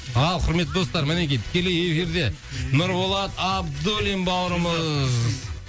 ал құрметті достар мінекей тікелей эфирде нұрболат абдуллин бауырымыз